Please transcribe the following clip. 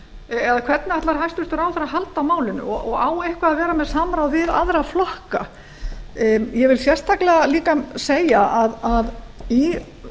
eða hvernig ætlar hæstvirtur ráðherra að halda á málinu og á eitthvað að vera með samráð við aðra flokka ég vil sérstaklega líka segja að í